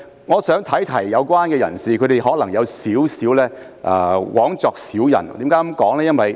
我想提醒有關人士，他們可能枉作小人。